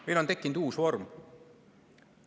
Meil on tekkinud uus vorm.